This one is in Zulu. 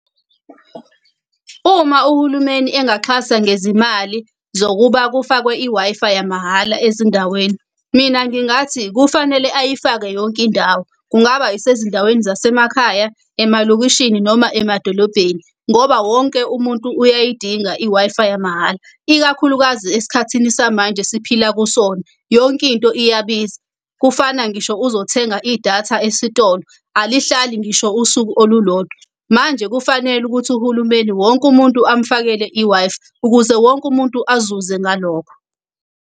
Uma uhulumeni engaxhasa ngezimali zokuba kufakwe i-Wi-Fi yamahhala ezindaweni, mina ngingathi kufanele ayifake yonke indawo. Kungaba isezindaweni zasemakhaya, emalokishini noma emadolobheni, ngoba wonke umuntu uyayidinga i-Wi-Fi yamahhala. Ikakhulukazi esikhathini samanje esiphila kusona yonkinto iyabiza. Kufana ngisho uzothenga idatha esitolo alihlali ngisho usuku olulodwa. Manje kufanele ukuthi uhulumeni wonke umuntu amfakele i-Wi-Fi, ukuze wonke umuntu azuze ngalokho.